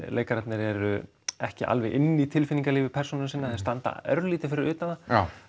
leikararnir eru ekki alveg inni í tilfinningalífi persóna sinna þau standa örlítið fyrir utan það